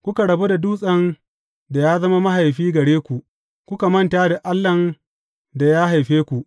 Kuka rabu da Dutsen da ya zama mahaifi gare ku; kuka manta da Allahn da ya haife ku.